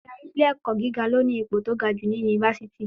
Ádárì ilé ẹ̀kọ́ gíga ló ní ipò tí ga jù ní yunifásítì.